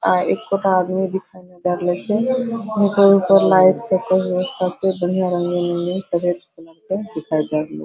अ एकोठा आदमी दिखाई नै दे रहल खे ऊपर-ऊपर लाइट स के व्यवस्था छे बढ़िया रंगीन-रंगीन सफेद कलर के दिखाई दे रहलै --